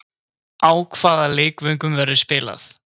Á hvaða leikvöngum verður spilað?